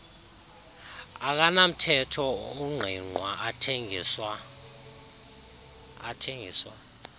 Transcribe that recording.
akanamthetho ungqingqwa athengiswa